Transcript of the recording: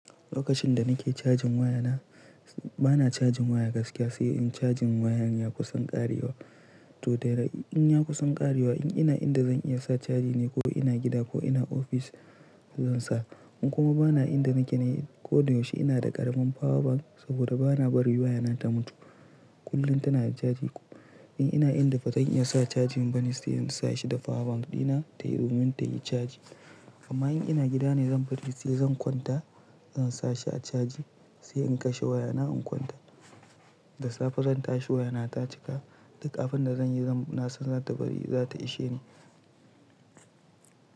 Lokacin da nake cajin waya na, bana cajin waya gaskiya sai in cajin wayar ya kusan ƙarewa. To dai in ya kusan ƙarewa in ina inda zan iya sa caji ne ko ina gida ko ina ofis zan sa. In kuma bana inda nake ne ko da yaushe ina da ƙaramin power bank saboda bana barin waya na ta mutu. Kullum tana da caji. In ina inda ba zan iya sa cajin bane sai in sa shi da power bank ɗina tayi domin tayi caji. Amma in ina gida ne zan bari sai zan kwanta zan sa shi a caji sai in kashe waya na in kwanta. Da safe zan tashi waya na ta cika. Duk abunda zan yi zan nasan za ta bari za ta ishe ni.